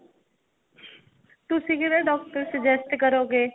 ਤੁਸੀਂ ਕਿਹੜਾ doctor suggest ਕਰੋਗੇ.